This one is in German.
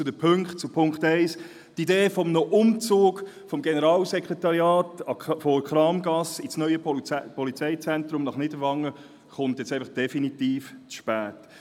Zu Ziffer 1: Die Idee eines Umzugs des Generalssekretariats von der Kramgasse in das neue Polizeizentrum nach Niederwangen kommt jetzt einfach definitiv zu spät.